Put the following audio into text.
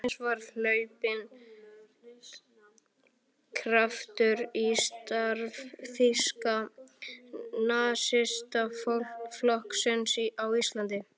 Loksins var hlaupinn kraftur í starf Þýska nasistaflokksins á Íslandi.